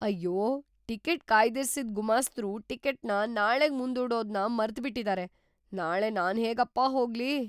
ಅಯ್ಯೋ! ಟಿಕೆಟ್ ಕಾಯ್ದಿರಿಸಿದ್ ಗುಮಾಸ್ತರು ಟಿಕೆಟ್‌ನ ನಾಳೆಗ್ ಮುಂದೂಡೋದ್ನ ಮರ್ತ್‌ಬಿಟಿದಾರೆ. ನಾಳೆ ನಾನ್ಹೇಗಪ್ಪ ಹೋಗ್ಲಿ?